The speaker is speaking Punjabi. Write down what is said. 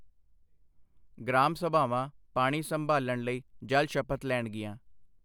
ਗ੍ਰਾਮ ਸਭਾਵਾਂ ਪਾਣੀ ਸੰਭਾਲ਼ਣ ਲਈ ਜਲ ਸ਼ਪਥ ਲੈਣਗੀਆਂ